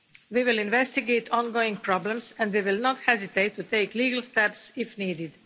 We will investigate ongoing problems and we will not hesitate to take legal steps if needed.